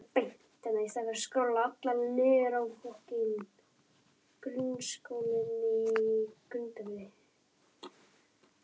Annar sem hafði ekki verið í sveit en lesið Heiðu